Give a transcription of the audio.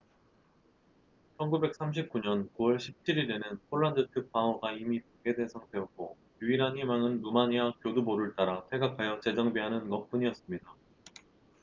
1939년 9월 17일에는 폴란드 측 방어가 이미 붕괴된 상태였고 유일한 희망은 루마니아 교두보를 따라 퇴각하여 재정비하는 것뿐이었습니다